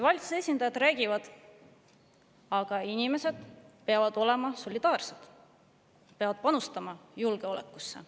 Valitsuse esindajad räägivad: inimesed peavad olema solidaarsed, peavad panustama julgeolekusse.